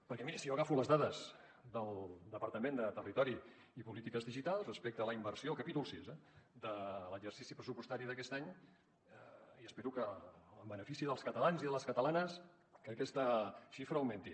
perquè miri si jo agafo les dades del departament de territori i polítiques digitals respecte a la inversió capítol sis eh de l’exercici pressupostari d’aquest any i espero que en benefici dels catalans i de les catalanes aquesta xifra augmenti